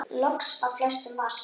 Loks flestum var sama.